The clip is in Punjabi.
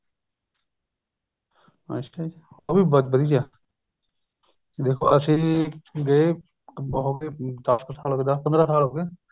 ਅੱਛਾ ਜ਼ੀ ਉਹ ਵੀ ਬਹੁਤ ਵਧੀਆ ਦੇਖੋ ਅਸੀਂ ਗਏ ਹੋਗੇ ਦੱਸ ਕ ਸਾਲ ਹੋ ਗਏ ਦੱਸ ਪੰਦਰਾ ਸਾਲ ਹੋ ਗਏ